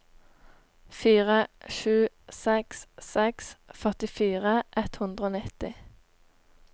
fire sju seks seks førtifire ett hundre og nitti